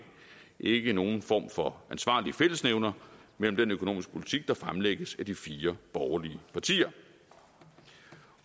ikke nogen form for ansvarlig fællesnævner mellem den økonomiske politik der fremlægges af de fire borgerlige partier